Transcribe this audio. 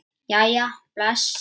Jæja bless